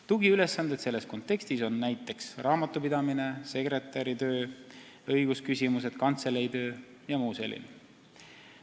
Tugiülesanded on selles kontekstis näiteks raamatupidamine, sekretäritöö, õigusküsimused, kantseleitöö jms.